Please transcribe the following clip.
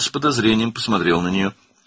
O, şübhə ilə ona baxdı.